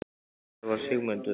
En hvar var Sigmundur?